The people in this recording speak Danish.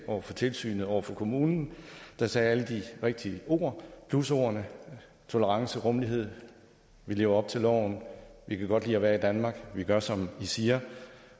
over for tilsynet over for kommunen der sagde alle de rigtige ord plusordene tolerance rummelighed vi lever op til loven vi kan godt lide at være i danmark vi gør som i siger